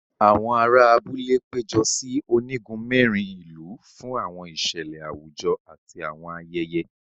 Àwọn àrà abúlé pejọ sí onigun mẹrin ìlú fún àwọn ìṣẹlẹ àwùjọ àti àwọn ayẹyẹ.